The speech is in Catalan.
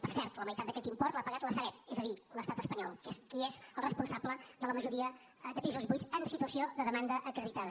per cert la meitat d’aquest import l’ha pagat la sareb és a dir l’estat espanyol que és qui és el responsable de la majoria de pisos buits en situació de demanda acreditada